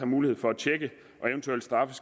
mulighed for at tjekke det og eventuelt straffe